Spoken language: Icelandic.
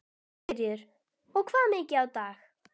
Sigríður: Og hvað mikið á dag?